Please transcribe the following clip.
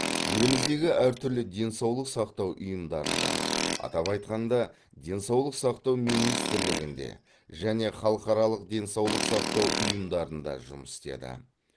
еліміздегі әртүрлі денсаулық сақтау ұйымдарында атап айтқанда денсаулық сақтау министрлігінде және халықаралық денсаулық сақтау ұйымдарында жұмыс істеді